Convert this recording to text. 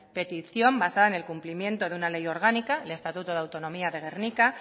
petición basada en el cumplimiento de una ley orgánica el estatuto de autonomía de gernika